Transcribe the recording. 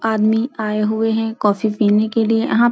आदमी आये हुए है काफी पीने के लिये अहाँ --